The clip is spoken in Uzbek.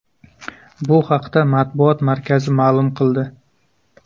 Bu haqda matbuot markazi ma’lum qildi .